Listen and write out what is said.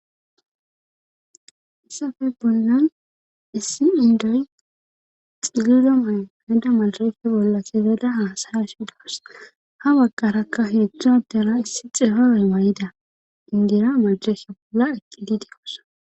Hayssafe bollan issi indoy xilido may heda malrefe bolla sefeda haasara shidaas ha wagqarakka hedzdzua dela issi xehoroy wayida ingira majesha bolla eqqidi de'osona